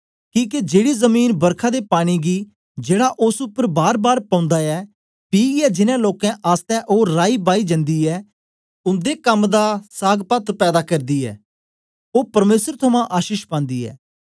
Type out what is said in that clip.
किके जेड़ी जमीन बरखा दे पानी गी जेड़ा ओस उपर बारबार पौंदा ऐ पीयै जिनैं लोकें आसतै ओ राईबाई जन्दी ऐ उन्दे कम दा सागपत पैदा करदी ऐ ओ परमेसर थमां आशीष पांदी ऐ